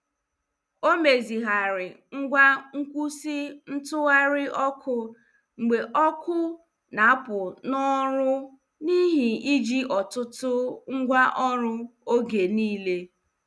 Ọ mezighari ngwa nkwụsị ntụgharị ọkụ mgbe ọkụ na- apụ n' ọrụ n' ihi iji ọtụtụ ngwa ọrụ oge niile.